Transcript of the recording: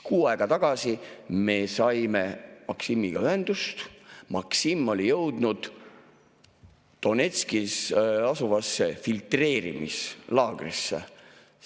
Kuu aega tagasi me saime Maksimiga ühendust, Maksim oli jõudnud Donetskis asuvasse filtreerimislaagrisse.